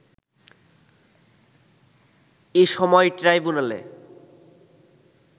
এ সময় ট্রাইব্যুনালে